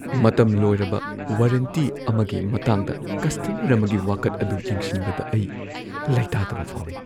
ꯃꯇꯝ ꯂꯣꯏꯔꯕ ꯋꯥꯔꯦꯟꯇꯤ ꯑꯃꯒꯤ ꯃꯇꯥꯡꯗ ꯀꯁꯇꯃꯔ ꯑꯃꯒꯤ ꯋꯥꯀꯠ ꯑꯗꯨ ꯌꯦꯡꯁꯤꯟꯕꯗ ꯑꯩ ꯂꯩꯇꯥꯗꯕ ꯐꯥꯎꯏ ꯫